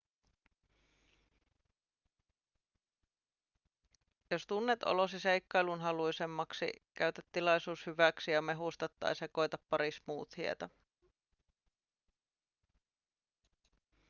jos tunnet olosi seikkailunhaluisemmaksi käytä tilaisuus hyväksi ja mehusta tai sekoita pari smoothieta